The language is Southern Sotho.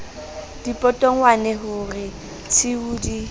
dipotongwane ho re tshiu di